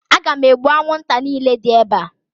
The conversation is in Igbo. Aga m egbu anwụnta niile dị ebe a